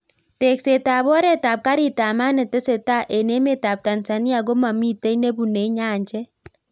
Tekset ab oret ab karit ab maat netesetai eng emet ab Tanzania komamitei nebunei nyanjet.